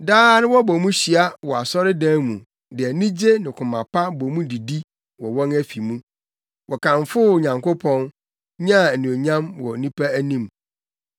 Daa na wɔbɔ mu hyia wɔ asɔredan mu de anigye ne koma pa bɔ mu didi wɔ wɔn afi mu. Wɔkamfoo Onyankopɔn, nyaa anuonyam wɔ nnipa anim.